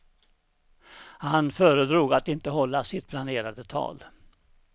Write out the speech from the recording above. Han föredrog att inte hålla sitt planerade tal.